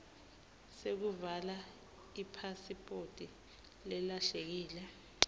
sekuvala ipasiphoti lelahlekile